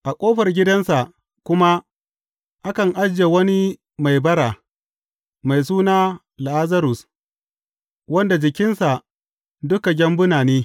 A ƙofar gidansa kuma akan ajiye wani mai bara, mai suna Lazarus, wanda jikinsa duk gyambuna ne.